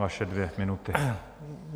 Vaše dvě minuty.